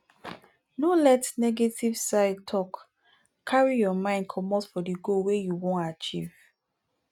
no let negetive side talk carry your mind comot for di goal wey you ean achive